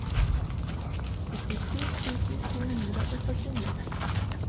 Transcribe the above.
syttisju tusen to hundre og førtini